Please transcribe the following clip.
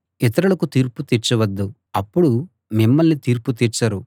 ఇతరులకు తీర్పు తీర్చవద్దు అప్పుడు మిమ్మల్నీ తీర్పు తీర్చరు